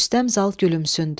Rüstəm Zal gülümsündü.